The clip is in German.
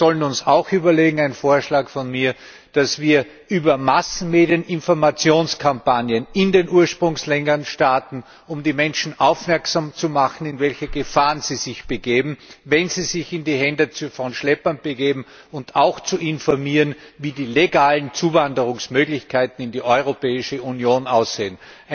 Und wir sollen uns auch einen Vorschlag von mir überlegen, dass wir über Massenmedien Informationskampagnen in den Ursprungsländern starten, um die Menschen darauf aufmerksam zu machen, in welche Gefahren sie sich begeben, wenn sie sich in die Hände von Schleppern begeben, und auch darüber zu informieren, wie die legalen Zuwanderungsmöglichkeiten in die Europäische Union aussehen.